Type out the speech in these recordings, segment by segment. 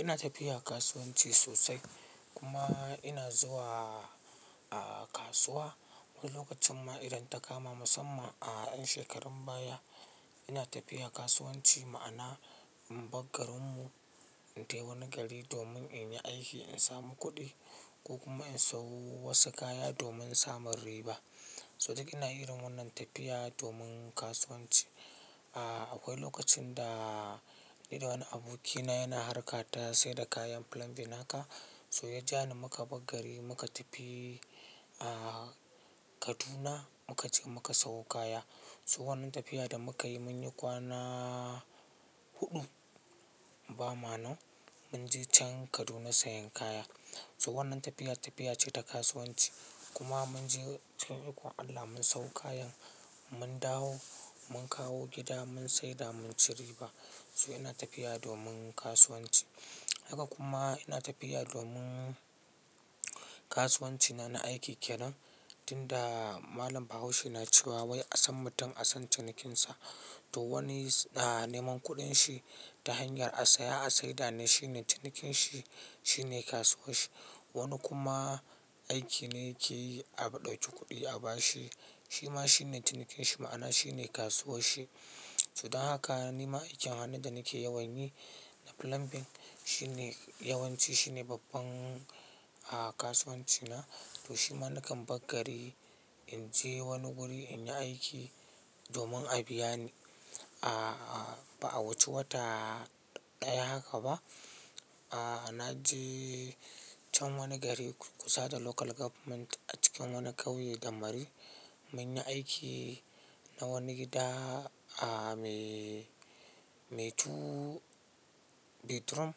Ina tafiya kasuwanci sosai kuma ina zuwa kasuwa wani lokacin ma idan ta kama musamman a 'yan shekarun baya. Ina tafiya kasuwanci ma'ana in bar garin mu, na tafi wani gari domin in yi aiki, in samu kuɗi ko kuma in sayo wasu kaya domin samun riba. So duk ina irin wannan tafiya domin kasuwanci. Akwai lokacin da ni da wani abokina yana harka ta saida kayan plumbing haka, so ya ja ni muka bar gari muka tafi Kaduna muka je muka sayo kaya. So wannan tafiya da muka yi mun yi kwana huɗu ba ma nan, mun je can Kaduna sayen kaya. So wannan tafiya, tafiya ce ta kasuwanci. Kuma mun je cikin ikon Allah mun sayo kayan, mun dawo mun kawo gida mun saida mun ci riba. So ina tafiya domin kasuwanci. Haka kuma ina tafiya domin kasuwanci na, na aiki ke nan. Inda Malam Bahaushe na cewa "wai a san mutum a san cinikinsa", to wani neman kuɗin shi ta hanyar a saya, a saida ne shine cinikin shi, shine kasuwar shi. Wani kuma aiki ne yake yi, a ɗauku kuɗi a ba shi, shi ma shine cinikin shi ma'ana shine kasuwar shi. Su dan haka nima aikin hannu da nake yawan yi na plumbing, shine yawanci shine babban kasuwanci na. To shi ma nakan bar gari in je wani guri in yi aiki domin a biya ni. Ba a wuce wata ɗaya haka ba, na je can wani gari kusa da Local Government a cikin wani kauye gammari. Mun yi aiki na wani gida mai two bedroom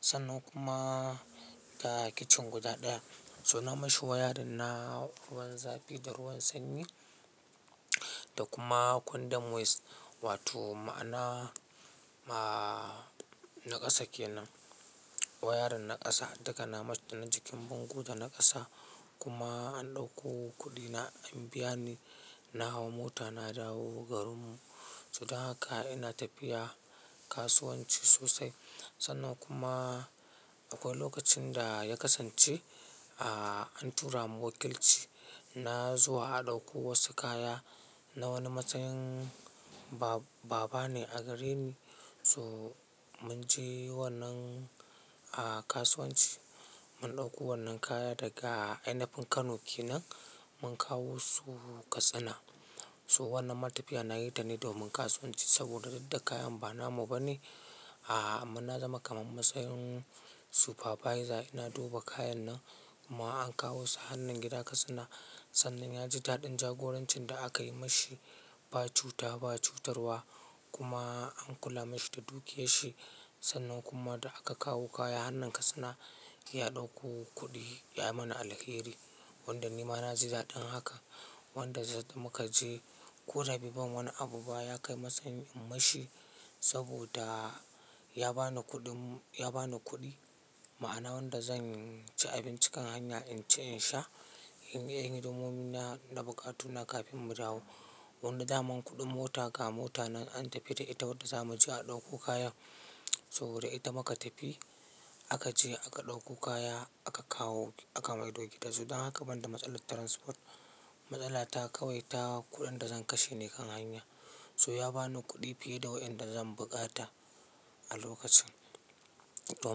sannan kuma da kitchen guda ɗaya. So na mashi wiring na ruwan zafi da ruwan sanyi da kuma condom waste wato ma'ana na ƙasa ke nan, wayarin na ƙasa. Daga na mas dan jikin bango da na ƙasa kuma an ɗakko kuɗi na an biya ni. Na hau mota na dawo garin mu. Su dan haka ina tafiya kasuwanci sosai. Sannan kuma akwai lokacin da ya kasance an tura mu wakilci, na zuwa a ɗauko wasu kaya na wani matsayin baba ne a gare ni. So mun je wannan kasuwanci, mun ɗauko wannan kaya daga ainafin Kano ke nan mun kawo su Katsina. So wannan ma tafiya nayi ta ne domin kasuwanci saboda duk da kayan ba namu ba ne amma na zama kamar matsayin supervisor. Ina duba kayan nan kuma an kawo su hannun gida Katsina. Sannan ya ji daɗin jagorancin da aka yi mashi, ba cuta ba cutarwa kuma an kula mashi da dukiyar shi. Sannan kuma da aka kawo kaya har nan Katsina ya ɗauko kuɗi ya yi mana alheri. Wanda nima na ji daɗin haka. Wanda muka je ko da be ban wani abu ba ya kai matsayin in mashi saboda ya bani kuɗin, ya bani kuɗi ma'ana wanda zan ci abinci kan hanya in ci in sha, in yi hidimomina na bukatu na kafin mu dawo. Wanda daman kuɗin mota ga mota nan an tafi da ita wanda zamu je a ɗauko kaya, saboda ita muka tafi aka je aka ɗauko kaya aka kawo aka mai do su. So dan haka banda matsalar transport, matsala ta kawai ta kuɗin da zan kashe ne kan hanya. So ya bani kuɗi fiye da wanda zan bukata a lokacin. To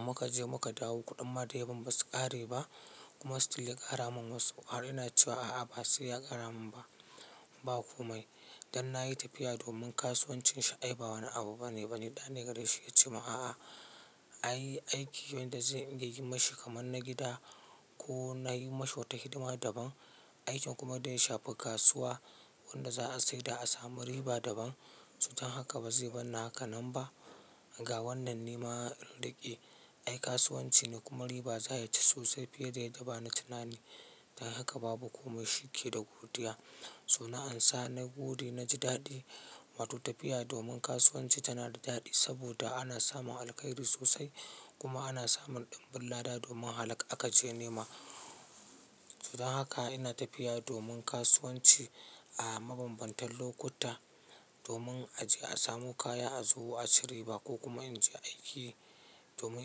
muka je muka dawo kuɗin ma daya ban basu ƙare ba kuma still ya ƙara mun wasu. Har ina cewa a'a ba sai ya ƙara mun ba. Ba komai. Dan na yi tafiya domin kasuwancin shi ai ba wani abu bane ba. Da ne gare shi ya ce min a'a, ai aiki wanda zai inga yi mashi kamar na gida ko na yi mashi wata hidima daban. Aikin kuma daya shafi kasuwa wanda za'a saida a samu riba daban. Su dan haka ba zai bar ni haka nan ba. Ga wannan nema in riƙe. Ai kasuwanci ne kuma riba za ya ci sosai fiye da yadda ba na tunani. Dan haka babu komai shike da godiya. So na ansa na gode na ji daɗi. Wato tafiya domin kasuwanci tana da daɗi saboda ana samun alkairi sosai kuma ana samun ɗimbin lada domin halak aka je nema. So dan haka ina tafiya domin kasuwanci a mabambantan lokuta domin a je a samu kaya, a zo a ci riba ko kuma in je aiki domin.